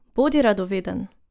Bodi radoveden!